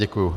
Děkuji.